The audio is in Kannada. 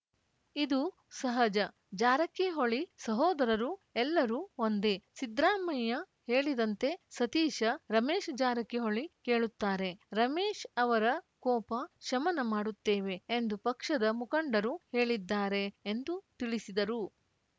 ಇದು ಸಹಜ ಜಾರಕಿಹೊಳಿ ಸಹೋದರರು ಎಲ್ಲರೂ ಒಂದೇ ಸಿದ್ದರಾಮಯ್ಯ ಹೇಳಿದಂತೆ ಸತೀಶ್‌ ರಮೇಶ್‌ ಜಾರಕಿಹೊಳಿ ಕೇಳುತ್ತಾರೆ ರಮೇಶ ಅವರ ಕೋಪ ಶಮನ ಮಾಡುತ್ತೇವೆ ಎಂದು ಪಕ್ಷದ ಮುಖಂಡರು ಹೇಳಿದ್ದಾರೆ ಎಂದು ತಿಳಿಸಿದರು